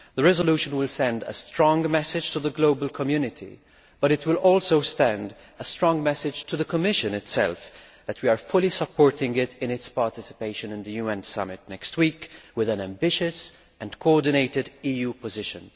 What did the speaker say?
The resolution will send a strong message to the global community, but it will also send a strong message to the Commission itself that we are fully supporting it in its participation in the UN Summit next week with an ambitious and coordinated EU position.